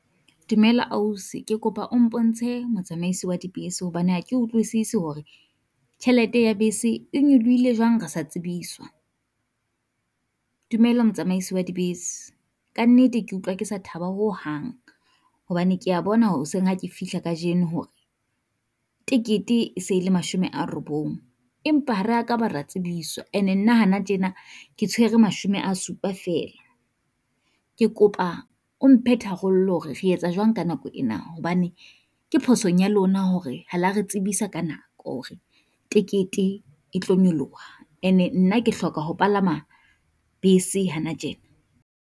Dumela ausi ke kopa o mpontshe motsamaisi wa dibese, hobane ha ke utlwisisi hore tjhelete ya bese e nyolohile jwang re sa tsebiswa. Dumela motsamaisi wa dibese kannete ke utlwa ke sa thaba ho hang, hobane kea bona hoseng ha ke fihla kajeno hore tekete e se e le mashome a robong. Empa ha ra ka ra tsebiswa, and-e nna hana tjena ke tshwere mashome a supa feela, ke kopa o mphe tharollo re etsa jwang ka nako ena. Hobane ke phosong ya lona hore ha la re tsebisa ka nako hore tekete e tlo nyoloha, and-e nna ke hloka ho palama bese hana tjena.